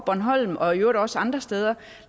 bornholm og i øvrigt også andre steder